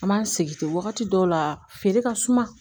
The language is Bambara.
An b'an sigi ten wagati dɔw la feere ka suma